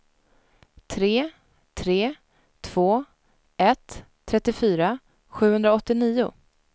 tre tre två ett trettiofyra sjuhundraåttionio